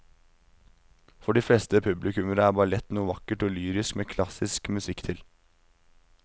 For de fleste publikummere er ballett noe vakkert og lyrisk med klassisk musikk til.